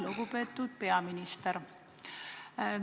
Lugupeetud peaminister!